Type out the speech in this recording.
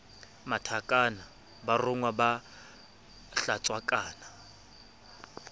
mathakang ba rongwa ba hlatswakang